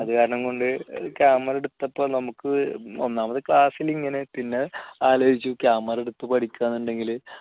അതുകാരണം കൊണ്ട് camera എടുത്തപ്പോൾ നമുക്ക് ഒന്നാമത് class ൽ ഇങ്ങനെ പിന്നെ ആലോചിച്ചു camera എടുത്ത് പഠിക്കാവെന്ന് ഉണ്ടെങ്കിൽ ഇങ്ങനെ